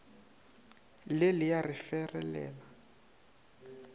le le a re ferelela